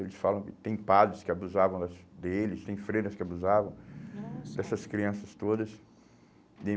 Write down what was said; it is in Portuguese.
Eles falam que tem padres que abusavam das deles, tem freiras que abusavam, nossa, dessas crianças todas. Daí